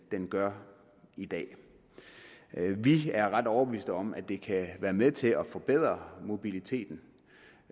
gør i dag vi er ret overbevist om at det kan være med til at forbedre mobiliteten